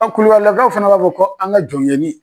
Ɔn kulubalilakaw fana b'a fɔ ko an ka jɔnkɛni.